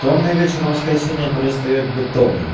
томный вечер воскресенья перестаёт быть томным